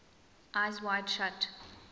eyes wide shut